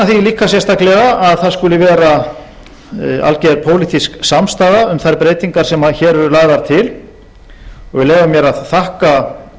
líka sérstaklega að það skuli vera alger pólitísk samstaða um þær breytingar sem hér eru lagðar til og ég vil leyfa mér að þakka